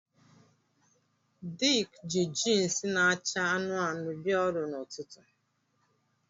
Dick ji jeans na-acha anụnụ anụnụ bịa ọrụ n'ụtụtụ